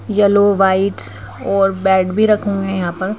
Yellow white और bed भी रखे हुए हैं यहां पर।